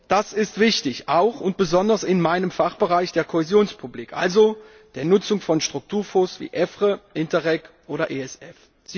Das ist wichtig, auch und besonders in meinem Fachbereich, der Kohäsionspolitik, also der Nutzung von Strukturfonds wie EFRE, Interreg oder ESF.